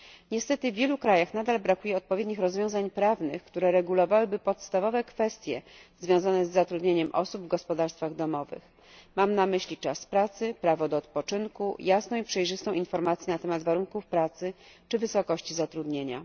Niestety w wielu krajach nadal brakuje odpowiednich rozwiązań prawnych, które regulowałyby podstawowe kwestie związane z zatrudnieniem osób w gospodarstwach domowych. Mam na myśli czas pracy, prawo do odpoczynku, jasną i przejrzystą informację na temat warunków pracy czy wysokości zatrudnienia.